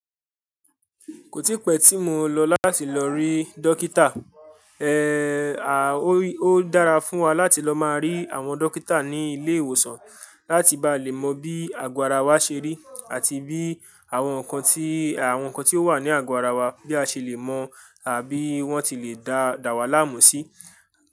Kò tí pẹ́ tí mo lọ láti lọ rí dókítà. Eéh, à ó dára fún wa láti lọ máa rí àwọn dókítà ní ilé ìwòsàn láti bá lè mọ bí àgọ́ ara wa ṣe rí àti bí àwọn nǹkan tí, àwọn nǹkan tí ó wà ní àgọ́ ara wa bí a ṣe lè mọ àbí wọ́n ti lè dá, dà wá láàmú sí.